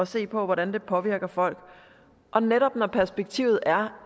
se på hvordan det påvirker folk og netop når perspektivet er